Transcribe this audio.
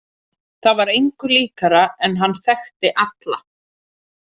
Það var engu líkara en hann þekkti alla.